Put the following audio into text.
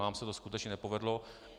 Nám se to skutečně nepovedlo.